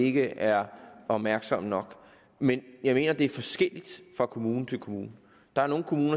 ikke er opmærksomme nok men jeg mener at det er forskelligt fra kommune til kommune der er nogle kommuner